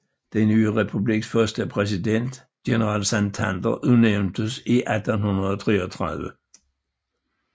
Den nye republiks første præsident general Santander udnævntes i 1833